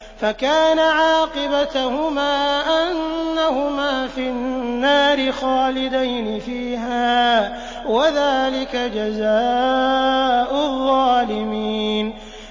فَكَانَ عَاقِبَتَهُمَا أَنَّهُمَا فِي النَّارِ خَالِدَيْنِ فِيهَا ۚ وَذَٰلِكَ جَزَاءُ الظَّالِمِينَ